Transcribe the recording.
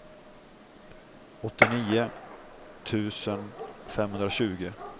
åttionio tusen femhundratjugo